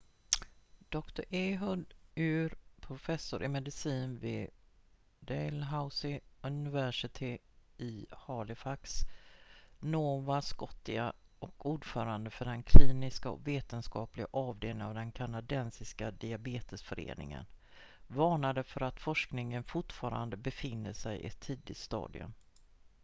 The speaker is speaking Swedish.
dr ehud ur professor i medicin vid dalhousie university i halifax nova scotia och ordförande för den kliniska och vetenskapliga avdelningen av den kanadensiska diabetesföreningen varnade för att forskningen fortfarande befinner sig i ett tidigt stadium